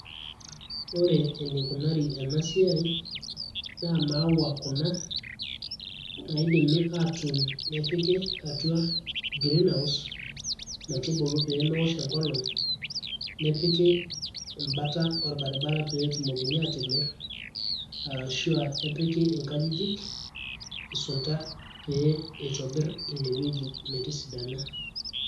ore eneikunari ena siai na imaua kuna naidimi aatun nepiki atua greenhouse metubulu peemewosh enkolong nepiki embata orbaribara peetumokini aatimirr arashu epiki nkajijik isunta pee itobirr inewueji metisidana.